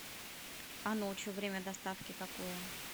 а ночью время доставки какое